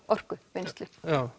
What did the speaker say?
orkuvinnslu